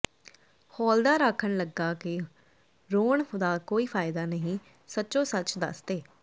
ਹੌਲਦਾਰ ਆਖਣ ਲੱਗਾ ਕੇ ਰੋਣ ਦਾ ਕੋਈ ਫਾਇਦਾ ਨਹੀਂ ਸਚੋਂ ਸੱਚ ਦੱਸ ਦੇ